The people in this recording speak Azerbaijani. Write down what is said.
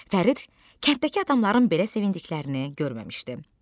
Fərid kənddəki adamların belə sevindiklərini görməmişdi.